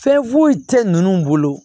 Fɛn foyi tɛ ninnu bolo